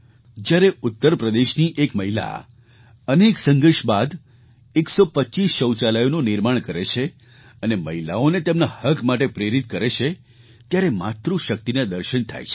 જ્યારે ઉત્તર પ્રદેશની એક મહિલા અનેક સંઘર્ષ બાદ 125 શૌચાલયોનું નિર્માણ કરે છે અને મહિલાઓને તેમના હક માટે પ્રેરિત કરે છે ત્યારે માતૃશક્તિનાં દર્શન થાય છે